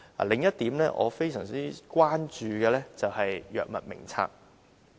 另一點我非常關注的是《藥物名冊》。